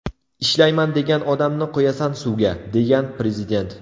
Ishlayman degan odamni qo‘yasan suvga”, degan Prezident.